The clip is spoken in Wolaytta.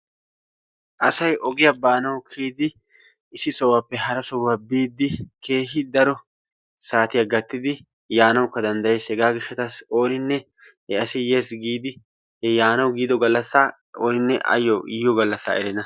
Asay ogiya baanawu kiyidi issi sohuwappe hara sohuwa biidi keehi daro saatiya gattidi yaanawukka danddayees, hegaa gishshatassi ooninne he asi yees giidi he yaanawu giiddo gallassaa ooninne ayo yiyo gallassa erenna.